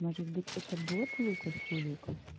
может быть это бот лукас хуюкас